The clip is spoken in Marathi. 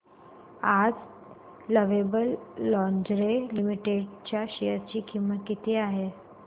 आज लवेबल लॉन्जरे लिमिटेड च्या शेअर ची किंमत किती आहे